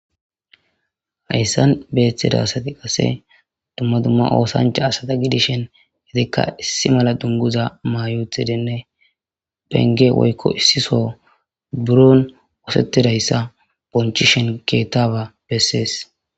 Hayssan beeththida asati qase dumma dumma oosancha asada gidishen gedikka issi mala dunguza mayuthidinne penge woykko issiso buron wosettidayssa bonchishen keettaba bessees.